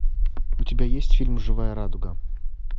у тебя есть фильм живая радуга